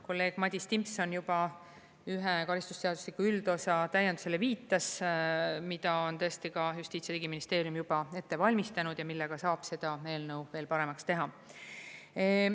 Kolleeg Madis Timpson juba ühe karistusseadustiku üldosa täiendusele viitas, mida on tõesti ka Justiits‑ ja Digiministeerium juba ette valmistanud ja millega saab seda eelnõu veel paremaks teha.